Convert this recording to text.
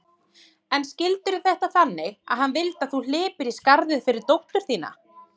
Og skildirðu þetta þannig að hann vildi að þú hlypir í skarðið fyrir dóttur þína?